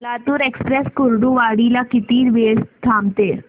Latur express Kurduwadi ला किती वेळ थांबते